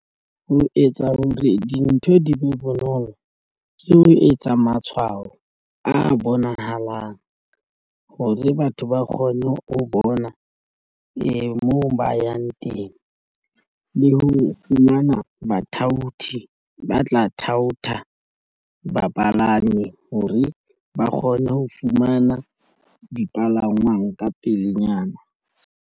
Ho etsa hore dintho di be bonolo ke ho etsa matshwao a bonahalang hore batho ba kgone ho bona moo ba yang teng le ho fumana bathaoti ba tla thaotha bapalami hore ba kgone ho fumana dipalangwang ka pelenyana.